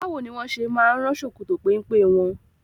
Báwo ni wọ́n ṣe máa ń rán ṣòkòtò pẹ́mpẹ́ wọn?